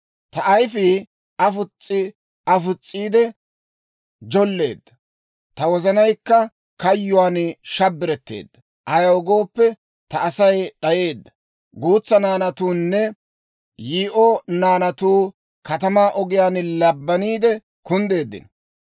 Ta ayifii afos's'i afos's'iidde jolleedda; ta wozanaykka kayyuwaan shabbiretteedda. Ayaw gooppe, ta Asay d'ayeedda; guutsa naanatuunne yii'o naanatuu katamaa ogiyaan labbaniide kunddeeddino.